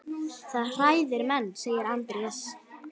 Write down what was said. Það hræðir menn, segir Andrés.